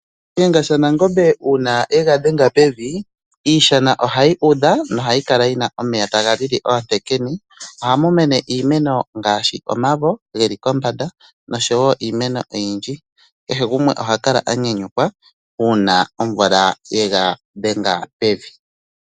Shiyenga shaNangombe uuna yega dhenga pevi, iishana ohayi udha nohayi kala yi na omeya taga lili oontekene. Ohamu mene iimeno ngaashi omavo ge li kombanda noshowoo iimeno oyindji. Kehe gumwe oha kala a nyanyukwa uuna omvula ye ga dhenga pevi.